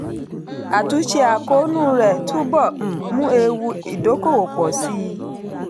àtúnṣe àkóónú rẹ̀ túbọ̀ um mú ewu ìdókòòwò pọ̀ sí i.